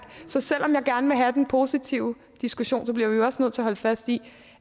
så selv om jeg gerne vil have den positive diskussion bliver vi også nødt til at holde fast i